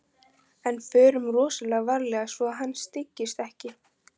En förum rosalega varlega svo að hann styggist ekki.